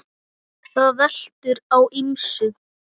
Það veltur á ýmsu.